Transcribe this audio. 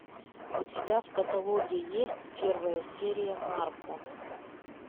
у тебя в каталоге есть первая серия нарко